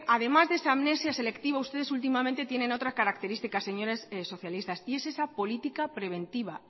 además de esa amnesia selectiva ustedes últimamente tienen otra característica señores socialistas y es esa política preventiva